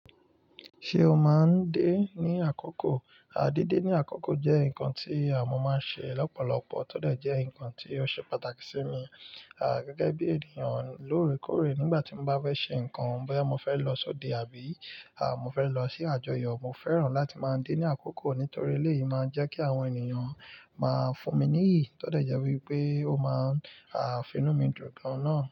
Ṣé o máa ń dé ní àkókò? À dede ní àkókò jẹ́ nǹkan tí à mọ́ máa ń ṣe lọ́pọ̀lọpọ̀ tódẹ̀ jẹ́ nǹkan tí ó ṣe pàtàkì sí mi. À gẹ́gẹ́ bí ènìyàn lóore kóóre nígbà tí mo bá fẹ́ ṣe nǹkan, boya mo fẹ́ lọ sóde àbí à mo fẹ́ lọ sí àjọyọ̀, mo fẹ́ràn láti máa ń dé ní àkókò nítorí eléyìí máa ń jẹ́ kí àwọn ènìyàn máa fún mi níyìí, tódẹ̀ jẹ́ wípé ó máa à finú mi dùn gan náà.